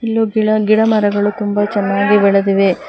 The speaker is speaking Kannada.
ಇಲ್ಲು ಗಿಡಮರಗಳು ತುಂಬ ಚೆನ್ನಾಗಿ ಬೆಳೆದಿವೆ.